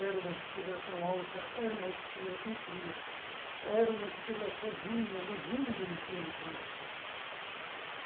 Era uma estrela tão alta, era uma estrela tão fria, era uma estrela sozinha, luzindo no fim do dia.